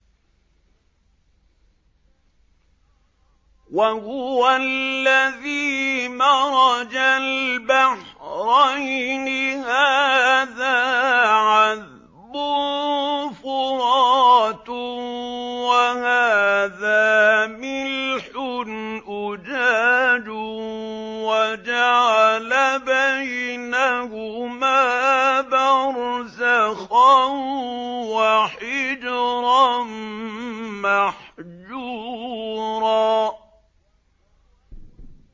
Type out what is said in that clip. ۞ وَهُوَ الَّذِي مَرَجَ الْبَحْرَيْنِ هَٰذَا عَذْبٌ فُرَاتٌ وَهَٰذَا مِلْحٌ أُجَاجٌ وَجَعَلَ بَيْنَهُمَا بَرْزَخًا وَحِجْرًا مَّحْجُورًا